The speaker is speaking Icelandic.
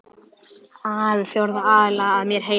ar við fjórða aðila, að mér heyrist.